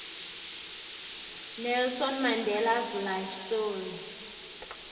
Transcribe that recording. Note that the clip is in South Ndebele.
nelson mandelas life story